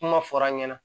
Kuma fɔr'an ɲɛna